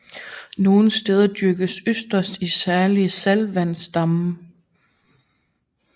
Nogle steder dyrkes østers i særlige saltvandsdamme